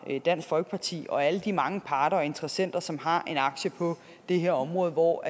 dansk folkeparti og alle de mange andre parter og interessenter som har en aktie på det her område og